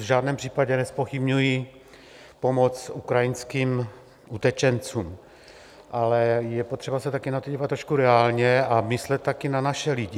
V žádném případě nezpochybňuji pomoc ukrajinským utečencům, ale je potřeba se také na to dívat trošku reálně a myslet také na naše lidi.